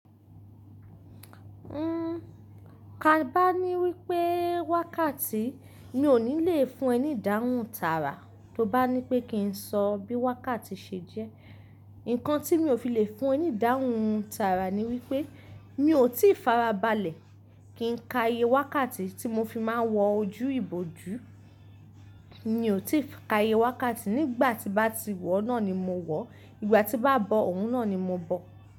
N, ka bá ní wípé wákàtí mi ò ní le fún ẹ ní ìdáhùn tààrà, tó bá ní pé kí n sọ bí wákàtí ṣe jẹ́. Ǹkan tí mi ò fi le fún ẹ ní ìdáhùn tààrà ni wípé, mi ò tí fara balẹ̀ kí n ka iye wákàtí tí mo fi máa ń wọ ojú ìbojú. Mi ò tíì ka iye wákàtí, nígbà tí bá ti wọ́ náà ni mo wọ, ìgbà tí bá bọ òun náà ni mo bọ.